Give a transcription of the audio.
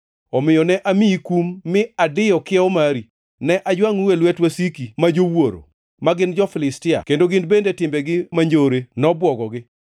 Omiyo ne amiyi kum mi adiyo kiewo mari; ne ajwangʼou e lwet wasiki ma jowuoro, ma gin nyi jo-Filistia, kendo gin bende timbegi manjore nobwogogi.